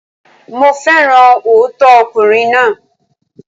Mo féràn òótọ́ ọkùnrin náà.